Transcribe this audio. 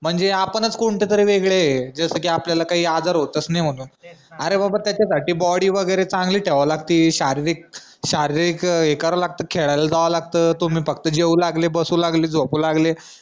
म्हणजे आपणच कोणत्या तरी वेगळ्या य कि आपल्याला कोणतेच आजार होत नाही म्हणून त्याचा साठी बॉडी वगैरे चांगली ठेवावी लागती शारीरिक शारीरिक हे करावा लागत खेळाला जावं लागत तुम्ही फक्त जेवलं लागले बसू लागले झोपू लागले